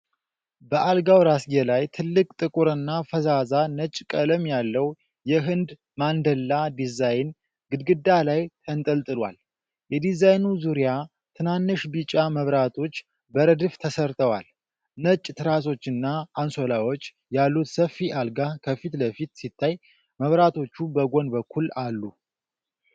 በአልጋው ራስጌ ላይ፣ ትልቅ፣ ጥቁርና ፈዛዛ ነጭ ቀለም ያለው የሕንድ ማንደላ ዲዛይን ግድግዳ ላይ ተንጠልጥሏል። በዲዛይኑ ዙሪያ ትናንሽ ቢጫ መብራቶች በረድፍ ተሰርተዋል። ነጭ ትራሶችና አንሶላዎች ያሉት ሰፊ አልጋ ከፊት ለፊት ሲታይ፣ መብራቶች በጎን በኩል አሉ።